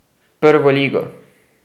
Prvo ligo!